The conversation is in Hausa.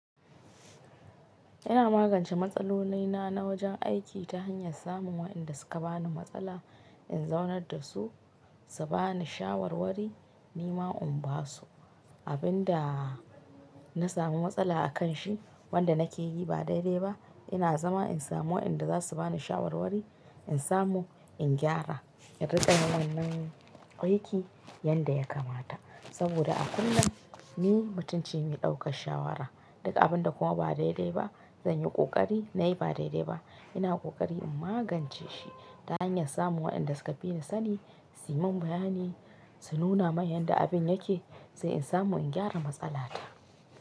Ina magance matsalolaina na wajen aiki ta hanyar samun wa'inda suka bani matsala in zaunar da su, su bani shawarwari ni ma in basu. Abin da na samu matsala a kan shi wanda na ke yi ba daidai ba ina zama in samu wa'inda za su bani shawarwari in samu in gyara, in rika yin wannan aiki yanda ya kamata. Saboda a kullum ni mutunce in yi ɗaukan shawara. Duka abin da kuwa ba daidai ba zan yi ƙoƙari na yi ba daidai ba. Ina ƙoƙari in magance shi ta hanyar samun wa'inda suka bi ni sani su yi min bayani, su nuna min yadda abin yake sai in samu in gyara matsala ta.